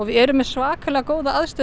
erum með svakalega góðar aðstæður